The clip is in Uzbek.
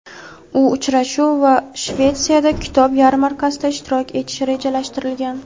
U uchrashuv va Shvetsiyada kitob yarmarkasida ishtirok etishi rejalashtirilgan.